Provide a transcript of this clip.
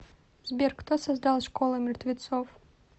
сбер кто создал школа мертвецов